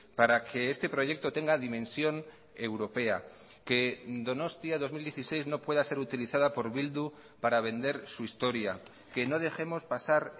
para que este proyecto tenga dimensión europea que donostia dos mil dieciséis no pueda ser utilizada por bildu para vender su historia que no dejemos pasar